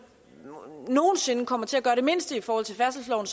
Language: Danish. nogen sinde kommer til at gøre det mindste i forhold til færdselsloven